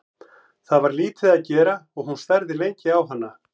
Það var lítið að gera og hún starði lengi á hana.